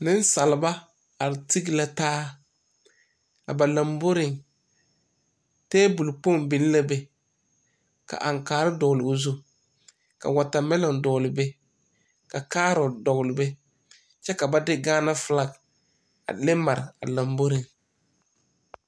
Nesalba are teg la taa. A ba lambɔreŋ, tabul kpong biŋ la be. Ka ankaare dogle o zu, ka watamilon dogle be, ka kaarot dogle be. Kyɛ ka ba de gaana fulak a leŋ mare a lambɔreŋ.